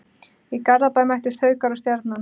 Í Garðabæ mættust Haukar og Stjarnan.